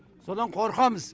содан қорқамыз